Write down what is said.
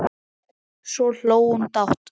Svo hló hún dátt.